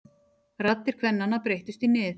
Raddir kvennanna breyttust í nið.